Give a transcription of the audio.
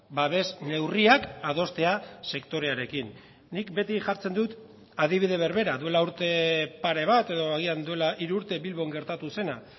babes neurriak adostea sektorearekin nik beti jartzen dut adibide berbera duela urte pare bat edo agian duela hiru urte bilbon gertatu zena